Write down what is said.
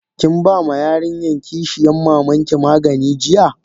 Kin bama yarinyan kishiyan mamanki magani jiya?